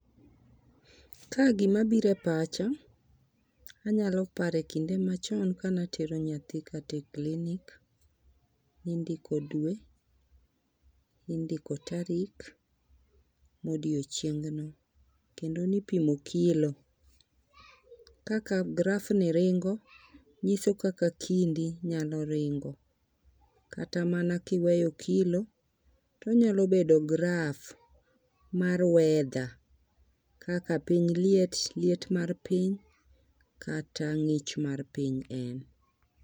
Ka gimabire pacha, anyalo pare kinde machon kanatero nyathi kata e clinic . Nindiko dwe, nindiko tarik, gi odiochieng'no kendo nipimo kilo kaka graph ni ringo nyiso kaka kindi nyalo ringo . Kata mana kiweyo kilo to nyalo bedo graph mar weather kaka piny liet , liet mar piny kata ng'ich mar piny.